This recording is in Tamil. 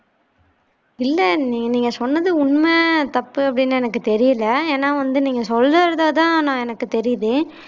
இல்ல நீங்க நீங்க சொன்னது உண்ம தப்பு அப்பிடின்னு எனக்கு தெரியல ஏனா வந்து நீங்க சொல்றதுல தான் எனக்கு தெரிது